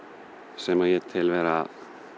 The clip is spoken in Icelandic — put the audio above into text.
sem að ég tel vera